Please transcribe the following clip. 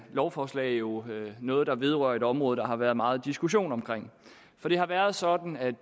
lovforslag jo noget der vedrører et område der har været meget diskussion om for det har været sådan at